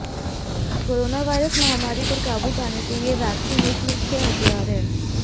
coronavirus महामारी पर काबू पाने के लिए वैक्सीन एक मुख्य हथियार है